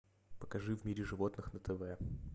покажи в мире животных на тв